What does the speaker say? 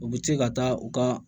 U bɛ se ka taa u ka